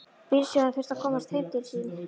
Bílstjórinn þurfti að komast heim til sín.